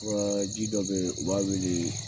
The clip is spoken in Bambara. Waa ji dɔ be ye u b'a weelee